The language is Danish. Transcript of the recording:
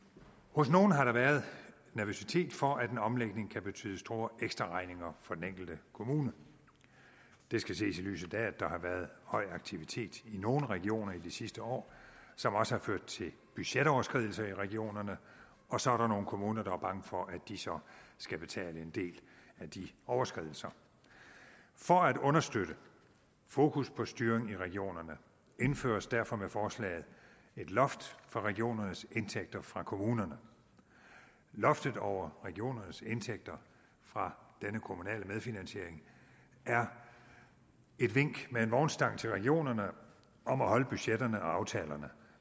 hos nogle har der været nervøsitet for at en omlægning kan betyde store ekstraregninger for den enkelte kommune det skal ses i lyset af at der har været høj aktivitet i nogle regioner i de sidste år som også har ført til budgetoverskridelser i regionerne og så er der nogle kommuner der er bange for at de så skal betale en del af de overskridelser for at understøtte fokus på styring i regionerne indføres derfor med forslaget et loft for regionernes indtægter fra kommunerne loftet over regionernes indtægter fra denne kommunale medfinansiering er et vink med en vognstang til regionerne om at holde budgetterne og aftalerne